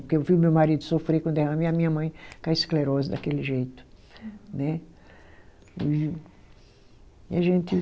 Porque eu vi o meu marido sofrer com derrame e a minha mãe ficar esclerosa daquele jeito. Uhum. Né, e a gente